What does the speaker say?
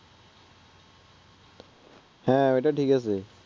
হ্যাঁ ঐটা ঠিক আছে